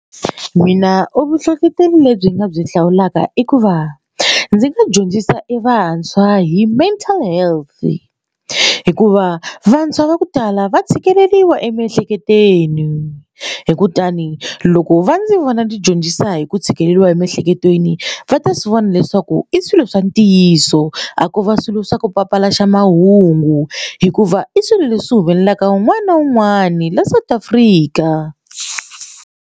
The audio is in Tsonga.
Mina u vuhlohloteri lebyi nga byi hlawulaka i ku va ndzi nga dyondzisa evantshwa hi mental health hikuva vantshwa va ku tala va tshikeleriwa emiehleketweni hi kutani loko va ndzi vona ni dyondzisa hi ku tshikeleriwa emiehleketweni va ta swi vona leswaku i swilo swa ntiyiso a ko va swilo swa ku papalata mahungu hikuva i swilo leswi humelelaka un'wana na un'wana la South Africa.